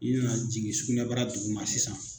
I be na jigin sugunɛbara duguma sisan